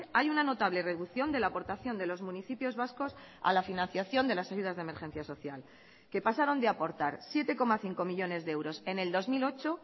hay una notable reducción de la aportación de los municipios vascos a la financiación de las ayudas de emergencia social que pasaron de aportar siete coma cinco millónes de euros en el dos mil ocho